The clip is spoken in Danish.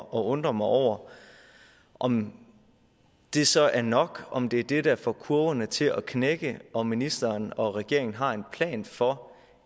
undre mig over om det så er nok om det er det der får kurverne til at knække om ministeren og regeringen har en plan for